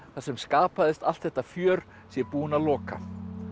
þar sem skapaðist allt þetta fjör sé búin að loka